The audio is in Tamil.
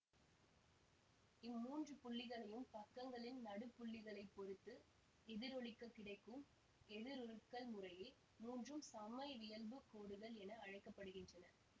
இம்மூன்று புள்ளிகளையும் பக்கங்களின் நடுப்புள்ளிகளைப் பொறுத்து எதிரொளிக்கக் கிடைக்கும் எதிருருக்கள் முறையே மூன்றும் சமவியல்புக் கோடுகள் என அழைக்க படுகின்றன